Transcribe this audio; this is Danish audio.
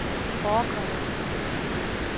forekommer